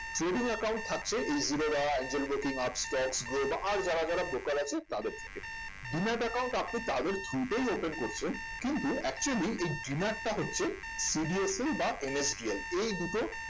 trading account থাকছে এই Zerodha Angel broking Upstox Groww আর যারা যারা broker আছে তাদের থেকে demat account আপনি তাদের through তেই open করছেন কিন্তু actually এই demat টা হচ্ছে CDSL বা NSDL এই দুটো